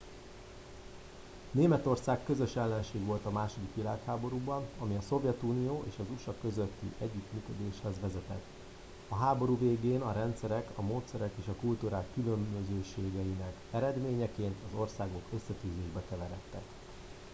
németország közös ellenség volt a második világháborúban ami a szovjetunió és az usa közötti együttműködéshez vezetett a háború végén a rendszerek a módszerek és a kultúrák különbözőségeinek eredményeként az országok összetűzésbe keveredtek